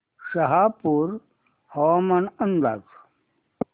शहापूर हवामान अंदाज